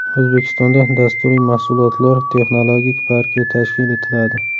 O‘zbekistonda Dasturiy mahsulotlar texnologik parki tashkil etiladi.